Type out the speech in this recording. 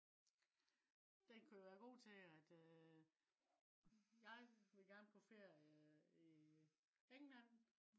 den kan jo være god til at øh. jeg vil gerne på ferie i england